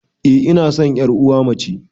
Eh ina san yar uwa mace